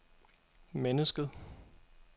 mennesket